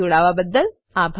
જોડાવાબદ્દલ આભાર